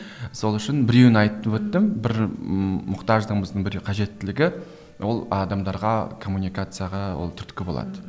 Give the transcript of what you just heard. сол үшін біреуін айтып өттім бір мұқтаждың біздің бір қажеттілігі ол адамдарға коммуникацияға ол түрткі болады